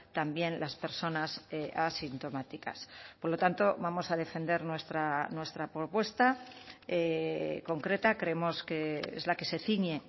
también las personas asintomáticas por lo tanto vamos a defender nuestra propuesta concreta creemos que es la que se ciñe